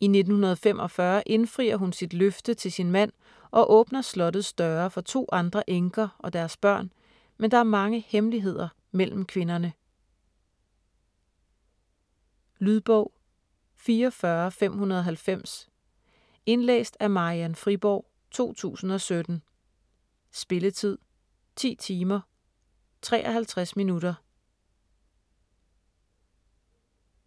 I 1945 indfrier hun sit løfte til sin mand og åbner slottets døre for 2 andre enker og deres børn, men der er mange hemmeligheder mellem kvinderne. Lydbog 44590 Indlæst af Marian Friborg, 2017. Spilletid: 10 timer, 53 minutter.